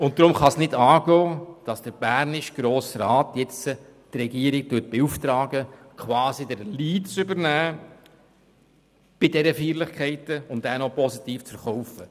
Und darum kann es nicht angehen, dass der bernische Grosse Rat jetzt die Regierung beauftragt, quasi den Lead bei diesen Feierlichkeiten zu übernehmen und diesen auch noch positiv zu verkaufen.